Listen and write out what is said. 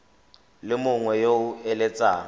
le mongwe yo o eletsang